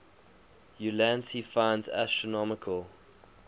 ulansey finds astronomical